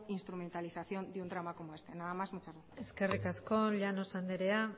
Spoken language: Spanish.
instrumentalización de un drama como este nada más muchas gracias eskerrik asko llanos andrea